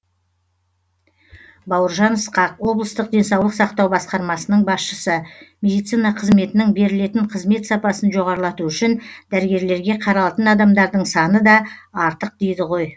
бауыржан ысқақ облыстық денсаулық сақтау басқармасының басшысы медицина қызметінің берілетін қызмет сапасын жоғарлату үшін дәрігерлерге қаралатын адамдардың саны да артық дейді ғой